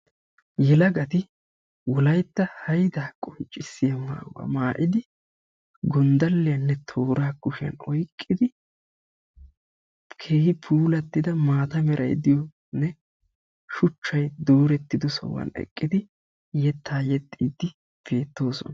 Yelagati wolaytta haydaa qonccissiya maayuwa maayidi gonddalliyanne tooraa kushiyan oyqqidi keehi puulattida maata merayi diyonne shuchchayi doorettido sohuwan eqqidi yettaa yexxiiddi beettoosona.